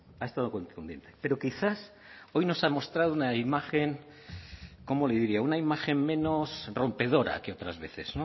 ha estado contundente pero quizás hoy nos ha mostrado una imagen cómo le diría una imagen menos rompedora que otras veces